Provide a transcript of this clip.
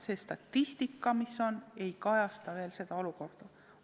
Senine statistika ei kajasta praegust olukorda.